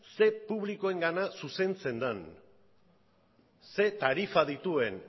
zer publikoengana zuzentzen den zer tarifa dituen